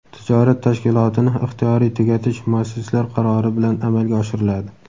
tijorat tashkilotini ixtiyoriy tugatish muassislar qarori bilan amalga oshiriladi.